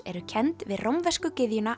eru kennd við rómversku gyðjuna